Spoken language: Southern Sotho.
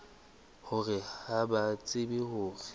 hore ha ba tsebe hore